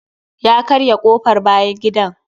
Ya karya kofr bayan gida.